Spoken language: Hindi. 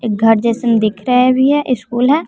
एक घर जैसन दिख रहा भी है स्कूल है।